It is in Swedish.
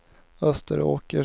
Österåker